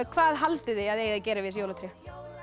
hvað haldið þið að þið eigið að gera við þessi jólatré